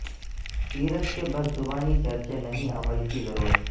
سیرت کے بس زبانی چرچے نہیں عمل کی ضرورت